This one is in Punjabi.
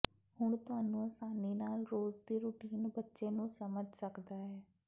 ਹੁਣ ਤੁਹਾਨੂੰ ਆਸਾਨੀ ਨਾਲ ਰੋਜ਼ ਦੀ ਰੁਟੀਨ ਬੱਚੇ ਨੂੰ ਸਮਝ ਸਕਦਾ ਹੈ